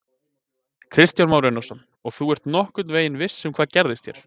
Kristján Már Unnarsson: Og þú ert nokkurn veginn viss um að það gerist hér?